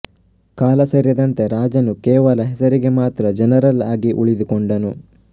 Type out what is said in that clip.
ಕಾಲಸರಿದಂತೆ ರಾಜನು ಕೇವಲ ಹೆಸರಿಗೆ ಮಾತ್ರ ಜನರಲ್ ಆಗಿ ಉಳಿದುಕೊಂಡನು